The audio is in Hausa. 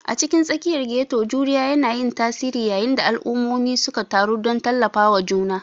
A cikin tsakiyar ghetto, juriya yana yin tasiri yayin da al'ummomi suka taru don tallafawa juna.